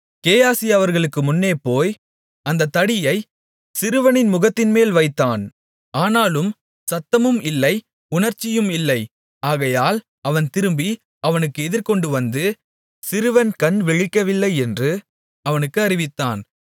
கேயாசி அவர்களுக்கு முன்னே போய் அந்தத் தடியைச் சிறுவனின் முகத்தின்மேல் வைத்தான் ஆனாலும் சத்தமும் இல்லை உணர்ச்சியும் இல்லை ஆகையால் அவன் திரும்பி அவனுக்கு எதிர்கொண்டு வந்து சிறுவன் கண் விழிக்கவில்லை என்று அவனுக்கு அறிவித்தான்